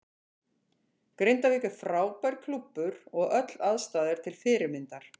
Grindavík er frábær klúbbur og öll aðstaða er til fyrirmyndar.